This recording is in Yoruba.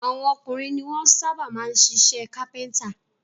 Àwọn ọkùnrin ni wọ́n sábà máa ń ṣiṣẹ́ kápẹ́ńtà.